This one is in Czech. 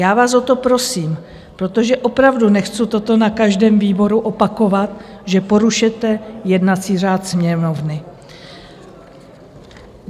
Já vás o to prosím, protože opravdu nechci toto na každém výboru opakovat, že porušujete jednací řád Sněmovny.